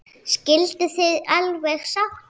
Skilduð þið alveg sáttir?